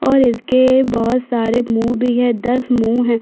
और इसके बहोत सारे मुँह भी है दस मुँह है।